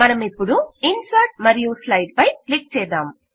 మనమిపుడు insert మరియు slide పై click చేద్దాం